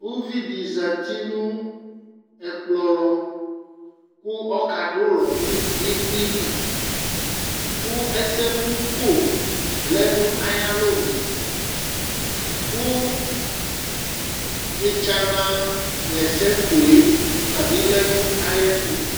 uvi di zati no ɛkpkɔ lɔ kò ɔka du ulɔ no ivli li kò ɛsɛmò ko lɛ n'ayi alɔnu kò etsana ɣa ɛsɛ kò yɛ ɔtabi lɛ n'ayi ɛto